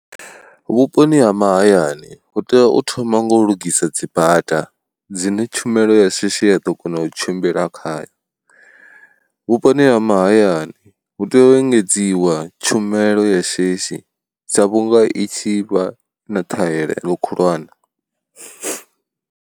Vhuponi ha mahayani hu tea u thoma nga u lugisa dzibada dzine tshumelo ya shishi ya ḓo kona u tshimbila khayo, vhuponi ha mahayani hu tea u engedziwa tshumelo ya shishi sa vhunga i tshi vha na ṱhahelelo khulwane.